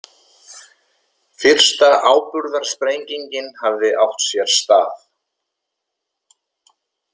Fyrsta áburðarsprengingin hafði átt sér stað.